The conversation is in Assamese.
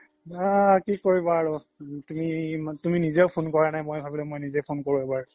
বাহ কি কৰিবা আৰু তুমি নিজেও phone কৰা নাই ভাবিলো কি মই নিজে phone কৰো এবাৰ